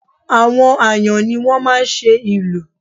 Àwọn Àyàn ni wọ́n máa ń ṣe ìlù